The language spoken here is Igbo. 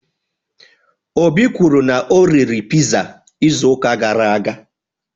Obi kwuru na o riri pizza izu uka gara aga